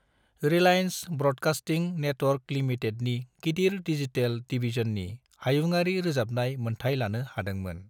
Reliance broadcasting network लिमिटेडनि गिदिर digital डिवीजननि हायुङारि रोजाबनाय मोनथाइ लानो हादोंमोन।